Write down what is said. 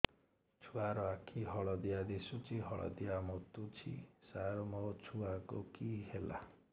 ଛୁଆ ର ଆଖି ହଳଦିଆ ଦିଶୁଛି ହଳଦିଆ ମୁତୁଛି ସାର ମୋ ଛୁଆକୁ କି ହେଲା